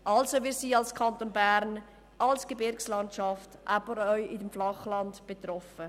Wir sind im Kanton Bern mit der Gebirgslandschaft, aber auch im Flachland betroffen.